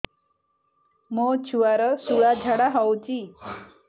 ମୋ ଛୁଆର ସୁଳା ଝାଡ଼ା ହଉଚି